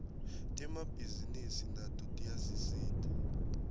temabhisinisi nato tiyasisita